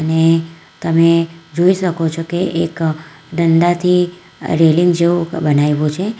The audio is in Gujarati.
અને તમે જોઈ શકો છો કે એક દંડાથી રેલિંગ જેવું બનાવ્યું છે.